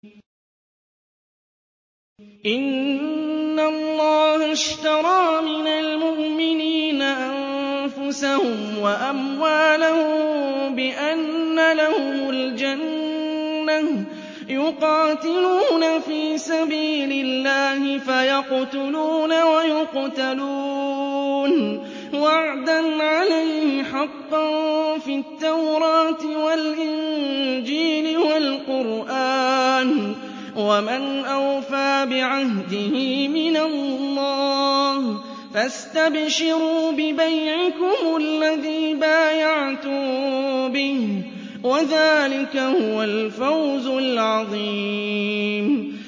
۞ إِنَّ اللَّهَ اشْتَرَىٰ مِنَ الْمُؤْمِنِينَ أَنفُسَهُمْ وَأَمْوَالَهُم بِأَنَّ لَهُمُ الْجَنَّةَ ۚ يُقَاتِلُونَ فِي سَبِيلِ اللَّهِ فَيَقْتُلُونَ وَيُقْتَلُونَ ۖ وَعْدًا عَلَيْهِ حَقًّا فِي التَّوْرَاةِ وَالْإِنجِيلِ وَالْقُرْآنِ ۚ وَمَنْ أَوْفَىٰ بِعَهْدِهِ مِنَ اللَّهِ ۚ فَاسْتَبْشِرُوا بِبَيْعِكُمُ الَّذِي بَايَعْتُم بِهِ ۚ وَذَٰلِكَ هُوَ الْفَوْزُ الْعَظِيمُ